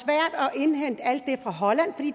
indhente alt